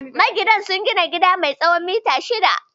Maginan sun gina gida mai tsawon mita shida